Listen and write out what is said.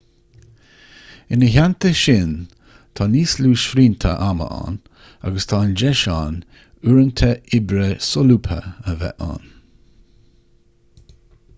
ina theannta sin tá níos lú srianta ama ann agus tá an deis ann uaireanta oibre solúbtha a bheith ann. bremer 1998